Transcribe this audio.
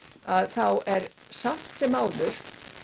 þá er samt sem áður